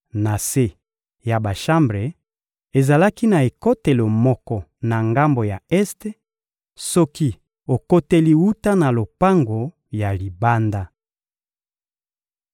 Na se ya bashambre, ezalaki na ekotelo moko na ngambo ya este soki okoteli wuta na lopango ya libanda.